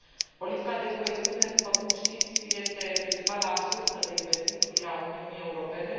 Politica de coeziune, după cum știți, este principala sursă de investiții a Uniunii Europene.